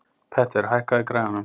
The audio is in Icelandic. Petter, hækkaðu í græjunum.